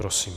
Prosím.